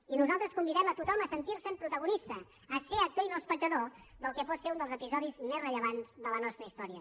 i nosaltres convidem a tothom a sentirse’n protagonista a ser actor i no espectador del que pot ser un dels episodis més rellevants de la nostra història